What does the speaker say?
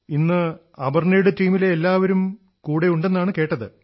ഇന്ന് അപർണ്ണയുടെ ടീമിലെ എല്ലാവരും കൂടെയുണ്ടെന്നാണ് കേട്ടത്